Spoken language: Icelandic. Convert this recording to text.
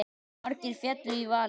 Margir féllu í valinn.